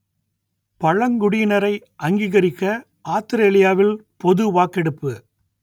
பழங்குடியினரை அங்கீகரிக்க ஆத்திரேலியாவில் பொது வாக்கெடுப்பு